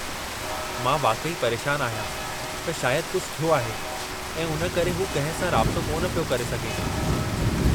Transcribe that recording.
मां वाक़ई परेशान आहियां त शायद कुझु थियो आहे ऐं उन करे हू कंहिं सां राबितो कोन पियो करे सघे।